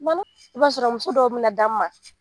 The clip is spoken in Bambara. I b'a sɔrɔ muso dɔw bi na d'anw ma